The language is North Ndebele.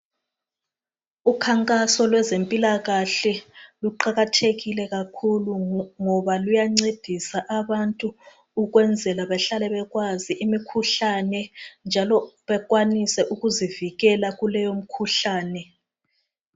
Ukhankaso lwezempilakahle luqakathekile kakhulu ngoba luyancedisa abantu ukwenzela bahlale bekwazi imikhuhlane njalo bekwanise ukuzivikela kuleyo mkhuhlane